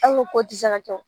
An ko k'o ti se ka kɛ wo.